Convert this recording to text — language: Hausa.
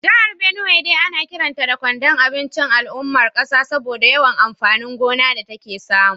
Jihar Benue dai ana kiranta da kwandon abinci ga al’ummar kasa saboda yawan amfanin gona da take samu